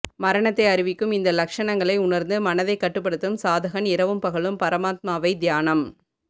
மரணத்தை அறிவிக்கும் இந்த லக்ஷணங்களை உணர்ந்து மனதைக் கட்டுப்படுத்தும் சாதகன் இரவும் பகலும் பரமாத்மாவை தியானம்